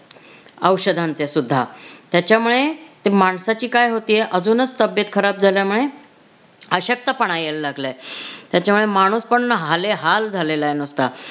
औषधांचे सुद्धा. त्याच्यामुळे ती माणसाची काय होतेय अजूनच तब्बेत खराब झाल्यामुळे अशक्तपणा यायला लागलाय. त्याच्यामुळे माणूस पण ना हालेहाल झालेलाय नुसता.